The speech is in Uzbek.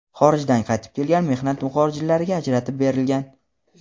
xorijdan qaytib kelgan mehnat muxojirlariga ajratib berilgan.